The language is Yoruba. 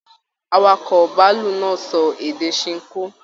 Àwàkọ̀ bàálù náà sọ èdè Sinko.